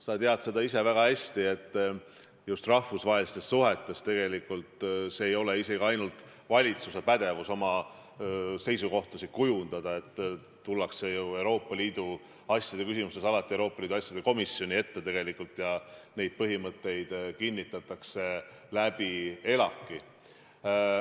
Sa tead ise väga hästi, et just rahvusvahelistes suhetes ei ole see isegi ainult valitsuse pädevus neid seisukohti kujundada, tullakse ju Euroopa Liidu asjade küsimustes alati Euroopa Liidu asjade komisjoni ette ja need põhimõtted kinnitatakse ELAK-is.